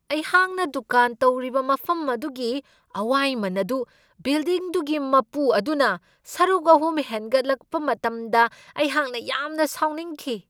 ꯑꯩꯍꯥꯛꯅ ꯗꯨꯀꯥꯟ ꯇꯧꯔꯤꯕ ꯃꯐꯝ ꯑꯗꯨꯒꯤ ꯑꯋꯥꯏꯃꯟ ꯑꯗꯨ ꯕꯤꯜꯗꯤꯡꯗꯨꯒꯤ ꯃꯄꯨ ꯑꯗꯨꯅ ꯁꯔꯨꯛ ꯑꯍꯨꯝ ꯍꯦꯟꯒꯠꯍꯟꯂꯛꯄ ꯃꯇꯝꯗ ꯑꯩꯍꯥꯛꯅ ꯌꯥꯝꯅ ꯁꯥꯎꯅꯤꯡꯈꯤ ꯫